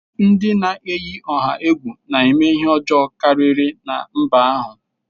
Ndị na-eyi ọha egwu na-eme ihe ọjọọ karịri na mba ahụ.